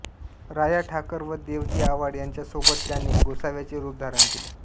राया ठाकर व देवजी आव्हाड यांच्या सोबत त्याने गोसाव्याचे रूप धारण केले